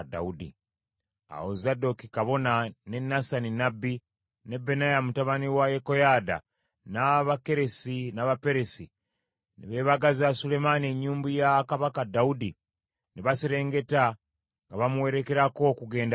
Awo Zadooki kabona, ne Nasani nnabbi ne Benaya mutabani wa Yekoyaada, n’Abakeresi n’Abaperesi ne beebagaza Sulemaani ennyumbu ya Kabaka Dawudi, ne baserengeta nga bamuwerekera okugenda e Gikoni.